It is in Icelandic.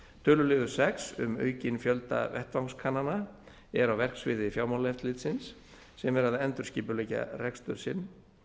töluliður sex um aukinn fjölda vettvangskannana er á verksviði fjármálaeftirlitsins sem er að endurskipuleggja rekstur sinn